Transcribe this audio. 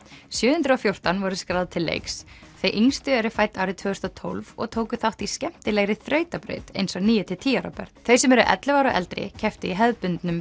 sjö hundruð og fjórtán voru skráð til leiks þau yngstu eru fædd árið tvö þúsund og tólf og tóku þátt í skemmtilegri þrautabraut eins og níu til tíu ára börn þau sem eru ellefu ára og eldri kepptu í hefðbundnum